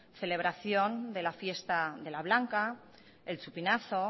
celebración de la fiesta de la blanca el chupinazo